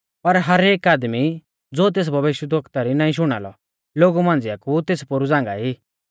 पर हरेक आदमी ज़ो तेस भविष्यवक्ता री नाईं शुणा लौ लोगु मांझ़िया कु तेस पोरु झ़ांगाई